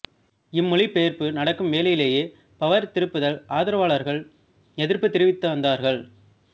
இம்மொழிபெயர்ப்பு நடக்கும் வேளையிலேயே பவர் திருப்புதல் ஆதரவாளர்கள் எதிர்ப்புத் தெரிவித்துவந்தார்கள்